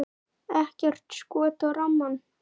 Ekkert skot á rammann?